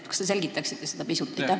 Kas te selgitaksite seda pisut?